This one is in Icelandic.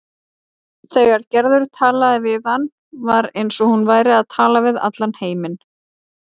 Þegar Gerður talaði við hann var eins og hún væri að tala við allan heiminn.